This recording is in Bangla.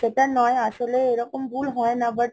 না mam সেটা নয়, আসলে এরকম ভুল হয় না but